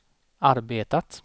arbetat